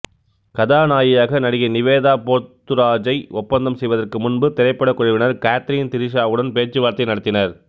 கதாநாயகியாக நடிகை நிவேதா போத்தூராஜை ஒப்பந்தம் செய்வதற்கு முன்பு திரைப் படக் குழுவினர் காத்ரீன் திரீசாவுடன் பேச்சுவார்த்தை நடத்தினர்